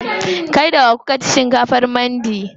Kai da wa kuka ci shinkafar mandi?